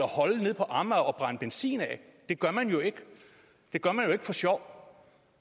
holde nede på amager og brænde benzin af det gør man jo ikke for sjov